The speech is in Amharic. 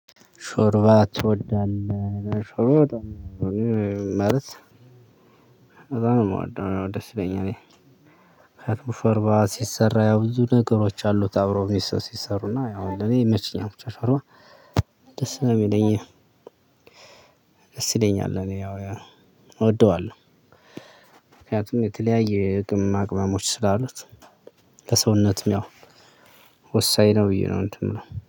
ሾርባ ትወዳለህ አዎ ሾርባ በጣም እወዳለው እ እኔ ማለት በጣም ነው ምወደው ደስ ይለኛል። ሾርባ ሲሰራ ያው ብዙ ነገሮች አሉት አብሮ ሲሰሩ እና ለኔ ያው ይመቸኛል ደስ ነው የሚለኝ። ደስ ይለኛል ለኔ ያው እወደዋለሁ። ምክንያቱም የተለያየ የቅመማ ቅመሞች ስላሉት። ለሰውነትም ያው ወሳኝ ነው ብዬ ነው እንትን ምናምን